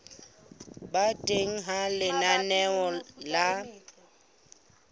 ba teng ha lenaneo la